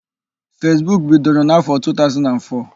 Fesbuk bidoro n'áfọ̀ 2004.